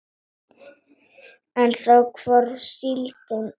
En þá hvarf síldin.